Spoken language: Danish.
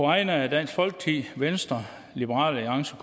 vegne af dansk folkeparti venstre liberal alliance